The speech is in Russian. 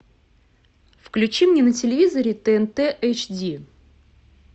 включи мне на телевизоре тнт эйч ди